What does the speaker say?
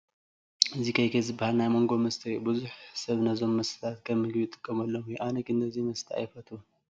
እዚ kk ዝበሃል ናይ ማንጐ መስተ እዩ፡፡ ብዙሕ ሰብ ነዞም መስተታት ከም ምግቢ ይጥቀመሎም እዩ፡፡ ኣነ ግን ነዚ መስተ ኣይፈትዎን፡፡